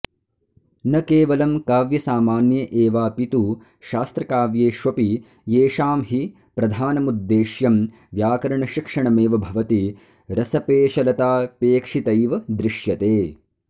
न केवलं काव्यसामान्य एवापितु शास्त्रकाव्येष्वपि येषां हि प्रधानमुद्देश्यं व्याकरणशिक्षणमेव भवति रसपेशलतापेक्षितैव दृश्यते